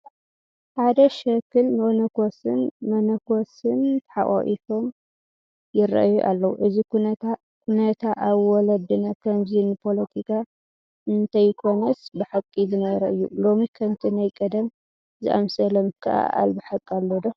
ሓደ ሸኽን መነኮስን ተሓቋቒፎም ይርአዩ ኣለዉ፡፡ እዚ ኩነታ ኣብ ወለድና ከምዚ ንፖለቲካ እንተይኮነስ ብሓቂ ዝነበረ እዩ፡፡ ሎሚ ከምቲ ናይ ቀደም ዝኣምሰለ ምክእኣል ብሓቂ ኣሎ ዶ?